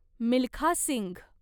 Milkha Singh